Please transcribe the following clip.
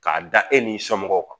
K'a da e n'i somɔgɔw kan